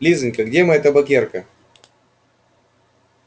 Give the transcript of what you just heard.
лизанька где моя табакерка